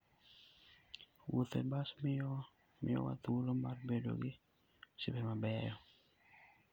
Wuotho e bas miyowa thuolo mar bedo gi osiepe mabeyo.